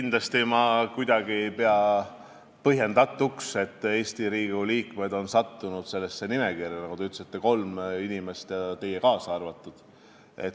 Kindlasti ei pea ma mitte kuidagi põhjendatuks, et Eesti Riigikogu liikmed on sattunud sellesse nimekirja – nagu te ütlesite, kolm inimest, sh ka teie.